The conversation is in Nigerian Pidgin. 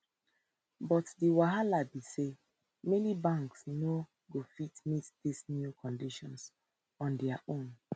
but di wahala be say many banks no go fit to meet dis new condition on dia own